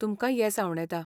तुमकां येस आंवडेतां.